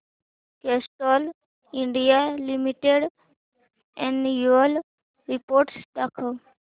Castrol India limited annual report दाखव